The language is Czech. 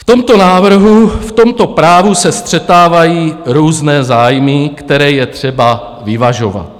V tomto návrhu, v tomto právu se střetávají různé zájmy, které je třeba vyvažovat.